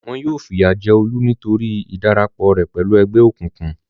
Wọn yóò fìyà jẹ Olú nítorí ìdarapọ̀ rẹ̀ pẹ̀lú ẹgbẹ́ òkùnkùn.